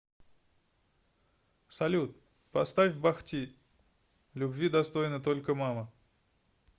салют поставь бах ти любви достойна только мама